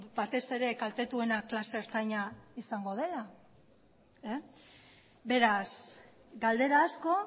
batez ere kaltetuena klase ertaina izango dela beraz galdera asko